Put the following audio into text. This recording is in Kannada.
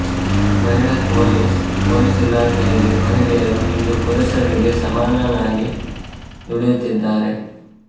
ಮಹಿಳಾ ಪೊಲೀಸ್ ಪೊಲೀಸ್ ಇಲಾಖೆಯಲ್ಲಿ ಮಹಿಳೆಯರೂ ಇಂದು ಪುರುಷರಿಗೆ ಸಮನಾಗಿ ದುಡಿಯುತ್ತಿದ್ದಾರೆ